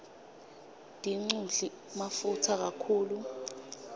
dinqudli mafutsa kakhulu